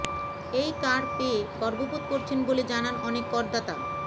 এই কার্ড পেয়ে গর্ববোধ করছেন বলে জানান অনেক করদাতা